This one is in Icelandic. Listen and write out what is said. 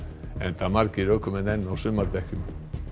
enda margir ökumenn enn á sumardekkjum